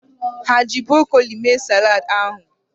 Ha eji brokoli mee saladị ahụ?